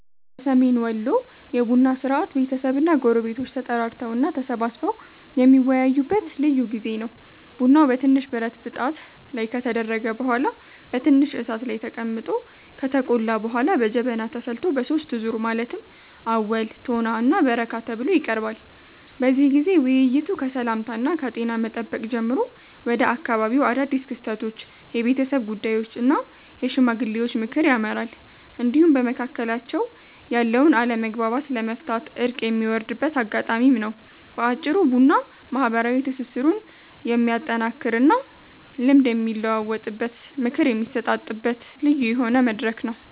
በሰሜን ወሎ የቡና ሥርዓት ቤተሰብና ጎረቤቶች ተጠራርተው እና ተሰባስበው የሚወያዩበት ልዩ ጊዜ ነው። ቡናው በትንሽ ብረት ብጣት ላይ ከተደረገ በኋላ በትንሽ እሳት ላይ ተቀምጦ ከተቆላ በኋላ በጀበና ተፈልቶ በሦስት ዙር ማለትም አወል፣ ቶና እና በረካ ተብሎ ይቀርባል። በዚህ ጊዜ ውይይቱ ከሰላምታና ከጤና መጠየቅ ጀምሮ ወደ አካባቢው አዳድስ ክስተቶች፣ የቤተሰብ ጉዳዮች እና የሽማግሌዎች ምክር ያመራል፤ እንዲሁም በመካከላቸው ያለውን አለመግባባት ለመፍታት እርቅ የሚወርድበት አጋጣሚም ነው። በአጭሩ ቡና ማህበራዊ ትስስሩን የሚያጠናክርና ልምድ የሚለዋወጥበት፣ ምክር የሚሰጣጥበት ልዩ የሆነ መድረክ ነው።